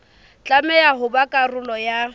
tlameha ho ba karolo ya